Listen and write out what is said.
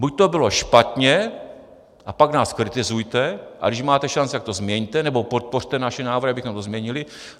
Buď to bylo špatně a pak nás kritizujte, a když máte šanci, tak to změňte, nebo podpořte naše návrhy, abychom to změnili.